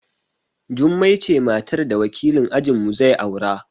Jummai ce matar da wakilin ajin mu zai aura